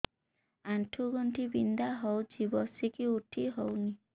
ଆଣ୍ଠୁ ଗଣ୍ଠି ବିନ୍ଧା ହଉଚି ବସିକି ଉଠି ହଉନି